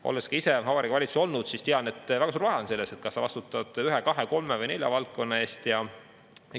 Olles ka ise Vabariigi Valitsuses olnud, tean, et on väga suur vahe, kas sa vastutad ühe, kahe, kolme või nelja valdkonna eest.